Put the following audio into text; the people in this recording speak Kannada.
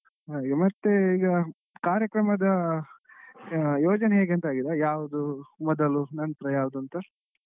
ಮತ್ತೆ ಈಗ ಕಾರ್ಯಕ್ರಮದ ಯೋಜನೆ ಹೇಗೆ ಅಂತ ಆಗಿದ ಯಾವ್ದು ಮೊದಲು ನಂತ್ರ ಯಾವ್ದು ಅಂತ.